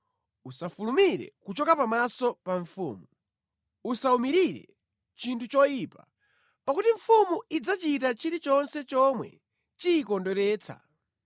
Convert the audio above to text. Usafulumire kuchoka pamaso pa mfumu. Usawumirire chinthu choyipa, pakuti mfumu idzachita chilichonse chomwe imasangalatsidwa nacho.